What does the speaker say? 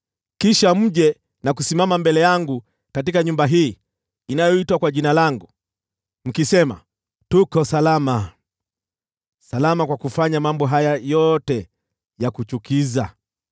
kisha mje na kusimama mbele yangu katika nyumba hii inayoitwa kwa Jina langu, mkisema, “Tuko salama.” Salama kwa kufanya mambo haya yote ya kuchukiza?